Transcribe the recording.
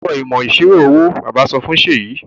O gbúdọ̀ l ẹ̀kọ́ ìmọ̀ ìṣirò owó! Bàbá sọ fún Seyi.